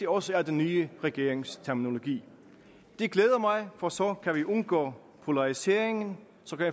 også er den nye regerings terminologi det glæder mig for så kan vi undgå polarisering og